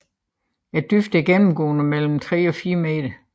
Dybden er gennemgående på mellem 3 og 4 meter